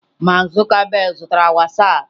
Mark Zuckerberg zutara Whastapp.